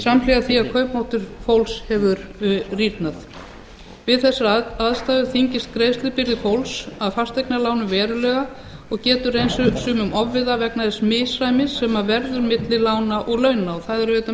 samhliða því að kaupmáttur fólks hefur rýrnað við þessar aðstæður þyngist greiðslubyrði fólks af fasteignalánum verulega og getur reynst sumum ofviða vegna þess misræmis sem verður milli lána og launa megintilgangur